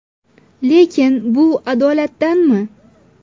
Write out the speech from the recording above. Lekin bu adolatdanmi?